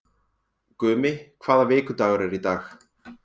Gumi, hvaða vikudagur er í dag?